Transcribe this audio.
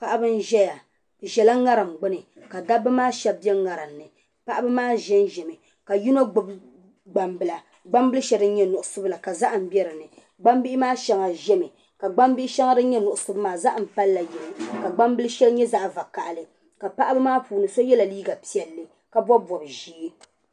Paɣiba n-zaya bɛ zala ŋariŋ gbini ka dabba maa shɛba be ŋariŋ ni. Paɣiba maa zanzami ka yino gbibi gbambila. Gbambila shɛli din nyɛ nuɣiso la ka zahim be dinni. Gbambihi maa shɛŋa zami ka gbambihi shɛŋa din nyɛ nuɣiso maa zahim palila di yini ka gbambil' shɛli nyɛ zaɣ' vakahili ka paɣiba maa puuni so yɛla liiga piɛlli ka bɔbi bɔb' ʒee.